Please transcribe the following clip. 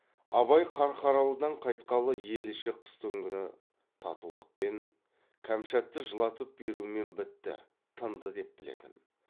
абай қарқаралыдан қайтқалы ел іші қыстыгүні татулықпен кәмшатты жылатып берумен бітті тынды деп білетін